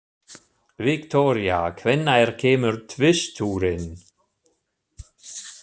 Viktoria, hvenær kemur tvisturinn?